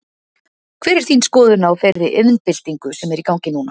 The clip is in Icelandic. Hver er þín skoðun á þeirri iðnbyltingu sem er í gangi núna?